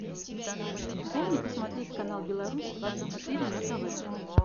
дай мне посмотреть канал беларусь двадцать четыре на тв